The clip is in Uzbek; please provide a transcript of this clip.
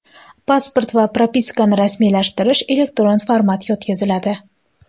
Pasport va propiskani rasmiylashtirish elektron formatga o‘tkaziladi.